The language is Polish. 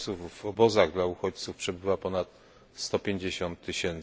uchodźców w obozach dla uchodźców przebywa ponad 150 tys.